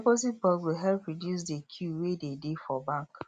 deposit box go help reduce de queue wey dey dey for bank